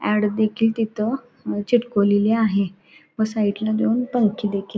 add देखील तिथ चिटकवलेली आहे व साइट ला दोन पंखे देखील --